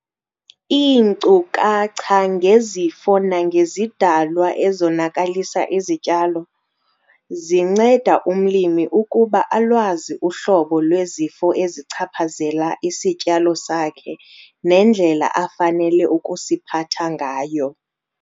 Iinkcukacha ngezifo nangezidalwa ezonakalisa izityalo- Zinceda umlimi ukuba alwazi uhlobo lwezifo ezichaphazela isityalo sakhe nendlela afanele ukusiphatha ngayo.